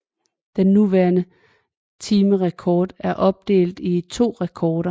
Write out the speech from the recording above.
Den nuværende timerekord er opdelt i to rekorder